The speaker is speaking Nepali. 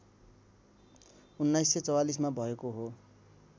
१९४४ मा भएको हो